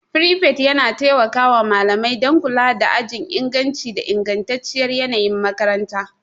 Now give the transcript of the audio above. Prefect yana taimaka wa malamai don kula da ajin inganci da ingantacciyar yanayin makaranta.